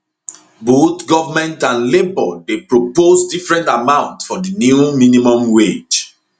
both goment and labour dey propose different amount for di new minimum wage